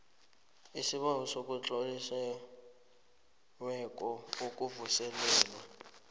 isibawo esitloliweko sokuvuselelwa